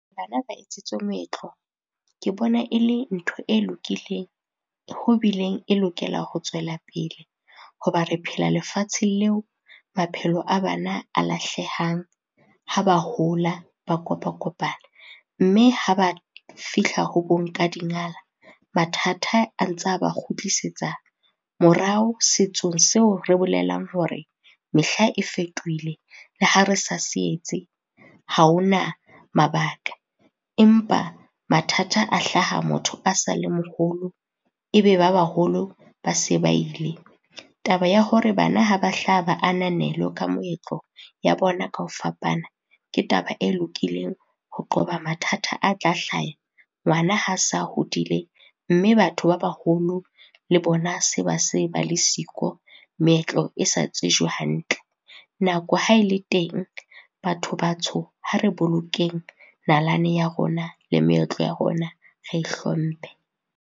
Bana ba etsetswe moetlo, ke bona e le ntho e lokileng ho bileng e lokela ho tswelapele, hoba re phela lefatsheng leo maphelo a bana a lahlehang ha ba hola, ba kopa-kopana. Mme ha ba fihla ho bo nkadingala, mathata a ntsa ba kgutlisetsa morao setsong seo re bolelang hore mehla e fetohile le ha re sa se etse, ha ho na mabaka. Empa mathata a hlaha motho a sa le moholo, e be ba baholo ba se ba ile. Taba ya hore bana ha ba hlaha ba ananelwe ka moetlo ya bona ka o fapana, ke taba e lokileng ho qoba mathata a tla hlaya ngwana ha sa hodile mme batho ba baholo le bona se ba se ba le siko, meetlo e sa tsejwe hantle. Nako ha e le teng batho batsho, ha re bolokeng nalane ya rona le meetlo ya rona re e hlomphe.